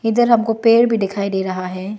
इधर हमको पेड़ भी दिखाई दे रहा है।